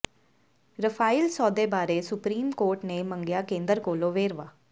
Rafael ਸੌਦੇ ਬਾਰੇ supreme court ਨੇ ਮੰਗਿਆ ਕੇਂਦਰ ਕੋਲੋਂ ਵੇਰਵਾ